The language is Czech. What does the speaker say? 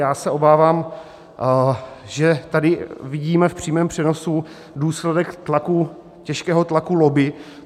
Já se obávám, že tady vidíme v přímém přenosu důsledek těžkého tlaku lobby.